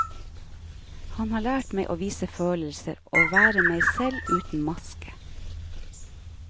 Han har lært meg å vise følelser, å være meg selv uten maske.